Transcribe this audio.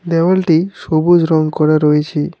দেওয়ালটি সবুজ রং করা রয়েছে।